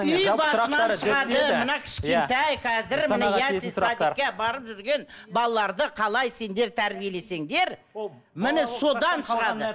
үй басынан шығады мына кішкентай қазір міне ясли садикке барып жүрген балаларды қалай сендер тәрбиелесеңдер міне содан шығады